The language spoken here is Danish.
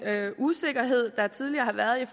usikkerhed der tidligere har været